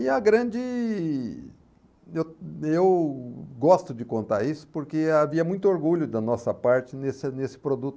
E a grande... Eu eu gosto de contar isso porque havia muito orgulho da nossa parte nesse nesse produto.